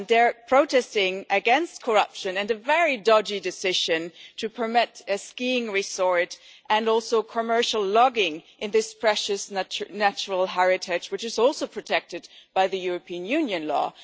They are protesting against corruption and a very dodgy decision to permit a skiing resort and also commercial logging in this precious natural heritage site, which is also protected by European Union law.